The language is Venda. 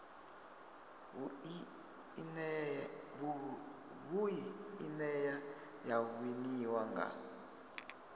vhui ine ya winiwa nga